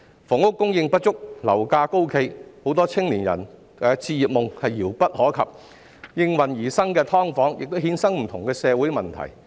房屋供應不足，樓價高企，很多青年人的置業夢遙不可及，應運而生的"劏房"亦衍生不同的社會問題。